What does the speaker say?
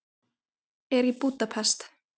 Er í Búdapest.